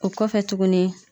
O kɔfɛ tuguni